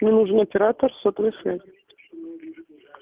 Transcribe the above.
мне нужен оператор сотовой связи